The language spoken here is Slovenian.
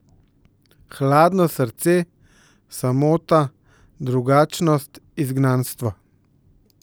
Hladno srce, samota, drugačnost, izgnanstvo ...